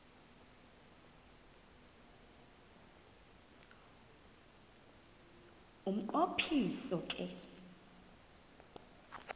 umnqo phiso ke